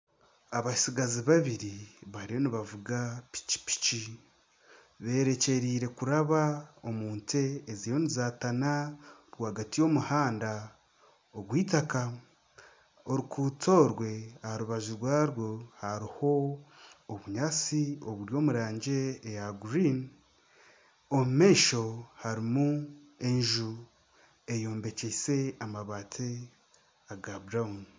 Abatsigazi babiri bariyo nibavuga pikipiki borekyereire kuraba omu nte eziriyo nizaatana rwagati y'omuhanda ogw'eitaka oruguto orwe aha rubaju rwarwo hariho obunyaatsi oburi omu rangi eya kinyaatsi. Omu maisho harimu enju eyombekyeise amabaati aga kitaka.